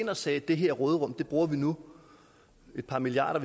og sagde at det her råderum bruger vi nu et par milliarder